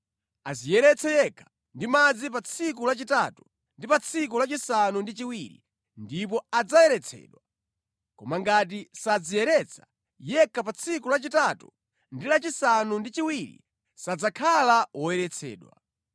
Adziyeretse yekha ndi madzi pa tsiku lachitatu ndi pa tsiku lachisanu ndi chiwiri ndipo adzayeretsedwa. Koma ngati sadziyeretsa yekha pa tsiku la chitatu ndi lachisanu ndi chiwiri sadzakhala woyeretsedwa.